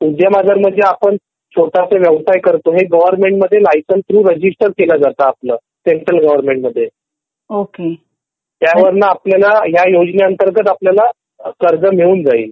उद्यम आधार म्हणजे आपण छोटासा व्यवसाय हे गवर्नमेंट मधे लायसेन्स थ्रू रजिस्टर केलं जातं सेंट्रल गवर्नमेंट मध्ये त्यावरणा आपल्याला ह्या योजने अंतर्गत आपल्याला कर्ज मिळून जाईल